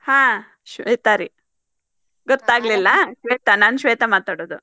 ಹಾ ಶ್ವೇತಾ ರೀ ಗೊತ್ತಾಗ್ಲಿಲ್ಲಾ ಶ್ವೇತಾ ನಾನ್ ಶ್ವೇತಾ ಮಾತಾಡೋದು.